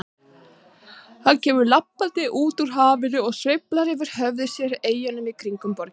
Hann kemur labbandi upp úr hafinu og sveiflar yfir höfði sér eyjunum í kringum borgina.